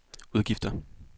udgifter